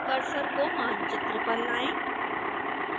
cursor को मानचित्र पर लाएं